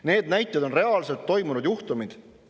Need näited on reaalselt toimunud juhtumid.